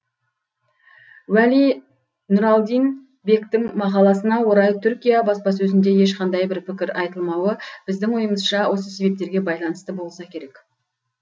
уәли нұралдин бектің мақаласына орай түркия баспасөзінде ешқандай бір пікір айтылмауы біздің ойымызша осы себептерге байланысты болса керек